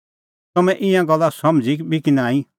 तम्हैं ईंयां गल्ला समझ़ी बी कि नांईं